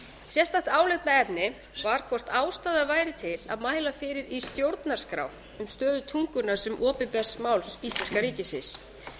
sérstakt álitaefni var hvort ástæða væri til að mæla í stjórnarskrá fyrir um stöðu tungunnar sem opinbers máls íslenska ríkisins